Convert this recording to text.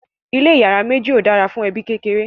ilé iyàrá méjì ọ dára fún ẹbi kékeré